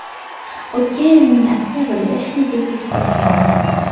O‘tgan yilning oktabrida shu uyga ko‘chib o‘tganmiz.